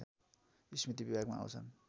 स्मृति विभागमा आउँछन्